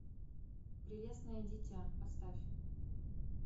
прелестное дитя поставь